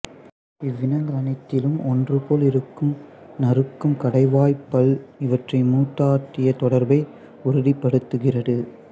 இவ்வினங்கள் அனைத்திலும் ஒன்றுபோல் இருக்கும் நறுக்கும் கடைவாய்ப் பல் இவற்றின் மூதாதையத் தொடர்பை உறுதிப்படுத்துகிறது